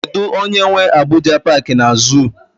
Kedụ onye nwe Abuja paaki na zuu?